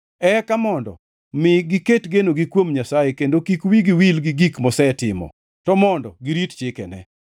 Eka mondo mi giket genogi kuom Nyasaye kendo kik wigi wil gi gik mosetimo, to mondo girit chikene.